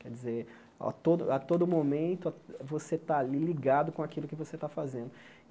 Quer dizer, a todo a todo momento, você está ali ligado com aquilo que você está fazendo.